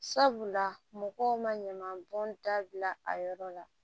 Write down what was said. Sabula mɔgɔw ma ɲaman bɔn dabila a yɔrɔ la